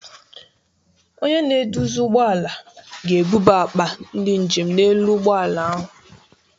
Onye na-eduzi ụgbọ ala ga-ebuba akpa ndị njem n'elu ụlọ ụgbọ ala ahụ.